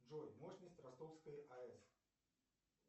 джой мощность ростовской аэс